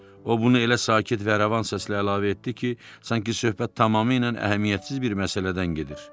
O bunu elə sakit və rəvan səslə əlavə etdi ki, sanki söhbət tamamilə əhəmiyyətsiz bir məsələdən gedir.